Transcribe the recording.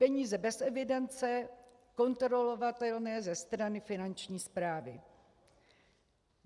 Peníze bez evidence kontrolovatelné ze strany finanční správy.